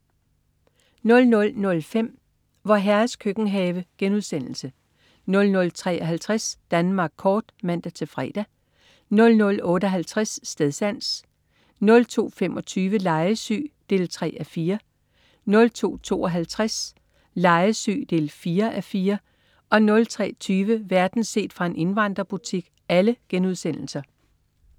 00.05 Vor Herres Køkkenhave* 00.53 Danmark kort* (man-fre) 00.58 Stedsans* 02.25 Legesyg 3:4* 02.52 Legesyg 4:4* 03.20 Verden set fra en indvandrerbutik*